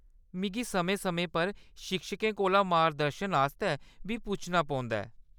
मिगी समें-समें पर शिक्षकें कोला मार्गदर्शन आस्तै बी पुच्छना पौंदा ऐ।